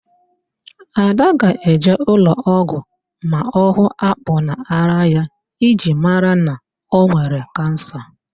Ada ga-eje ụlọọgwụ ma ọ hụ akpụ n'árá ya iji mara ma ọ nwere Kansa